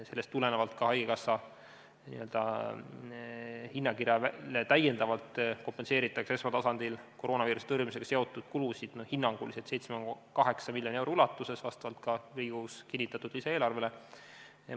Seetõttu kompenseeritakse haigekassa hinnakirja järgi täiendavalt esmatasandil koroonaviiruse tõrjumisega seotud kulusid hinnanguliselt 7,8 miljoni ulatuses Riigikogus kinnitatud lisaeelarve alusel.